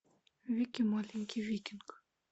вики маленький викинг